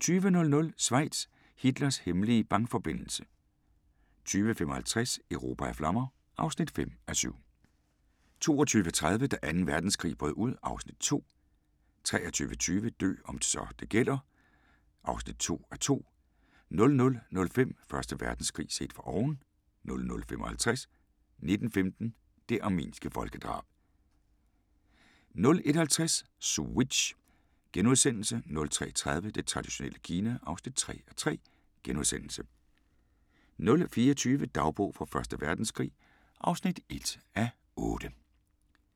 20:00: Schweiz – Hitlers hemmelige bankforbindelse 20:55: Europa i flammer (5:7) 22:30: Da Anden Verdenskrig brød ud (Afs. 2) 23:20: Dø om så det gælder (2:2) 00:05: Første Verdenskrig set fra oven 00:55: 1915 – det armenske folkedrab 01:50: Switch * 03:30: Det traditionelle Kina (3:3)* 04:20: Dagbog fra Første Verdenskrig (1:8)